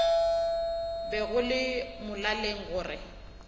be go le molaleng gore